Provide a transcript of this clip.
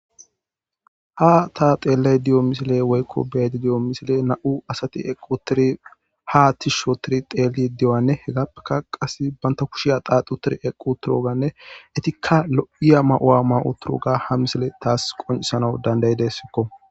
Ha ta xeelay diyo misile woykko beedi diyo misile na'u asati equ tiri ha tis shotiri teeli diyoanne hegappeka qas banta kushiya qaaqu tiri equ turoganne etikka lo'iya ma'u'a ma'u turo ga ha misile taas qonisana dandayidessikko.